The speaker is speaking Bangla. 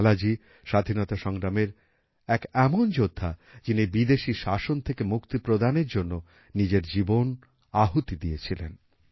লালাজি স্বাধীনতাসংগ্রামের এক এমন যোদ্ধা যিনি বিদেশি শাসন থেকে মুক্তি প্রদানের জন্য নিজের জীবন আহুতি দিয়েছিলেন